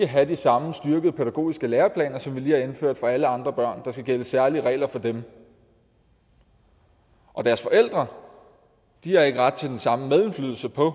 have de samme styrkede pædagogiske læreplaner som vi lige har indført for alle andre børn der skal gælde særlige regler for dem og deres forældre har ikke ret til den samme medindflydelse på